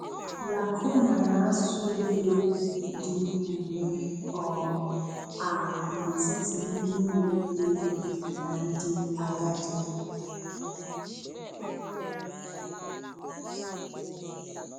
Lacuna na-asụ ude dị ugbu um a n'etiti ndị na-eto eto na ndị agadi.